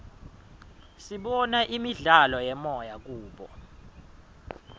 sibona imidlalo yemoya kubo